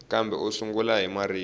kambe u sungula hi marito